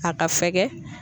A ka fɛgɛ.